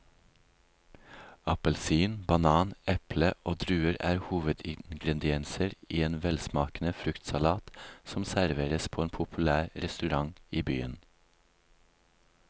Appelsin, banan, eple og druer er hovedingredienser i en velsmakende fruktsalat som serveres på en populær restaurant i byen.